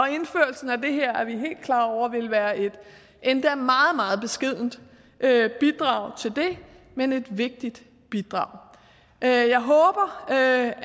at indførelsen af det her vil være et endda meget meget beskedent bidrag til det men et vigtigt bidrag jeg håber at